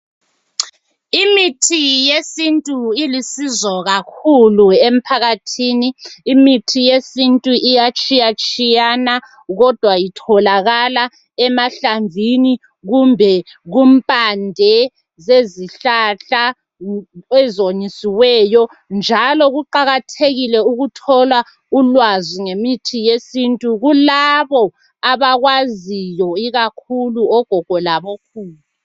Imithi yesintuilusizo kakhulu emphakathini, imithi yesintu iyatshiyatshiyana kodwa itholakala emahlamvini kumbe kumpande zezihlahla ezomisiweyo njalo kuqakathekile ukuthola ulwazi ngemithi yesintu kulabo abakwaziyo ikakhulu ogogo labokhulu.